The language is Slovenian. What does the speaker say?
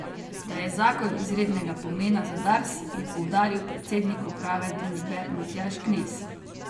Da je zakon izrednega pomena za Dars, je poudaril predsednik uprave družbe Matjaž Knez.